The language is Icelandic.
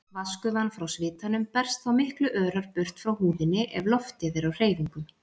Vatnsgufan frá svitanum berst þá miklu örar burt frá húðinni ef loftið er á hreyfingu.